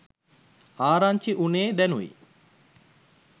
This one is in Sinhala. ආරංචි උනේ දැනුයි